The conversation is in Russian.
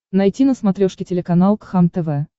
найти на смотрешке телеканал кхлм тв